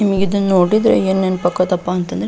ನಮಿಗೆ ಇದನ್ನ ನೋಡಿದ್ರೆ ಏನ್ ನೆನ್ಪ್ ಅಕತಪ್ಪ ಅಂತಂದ್ರ --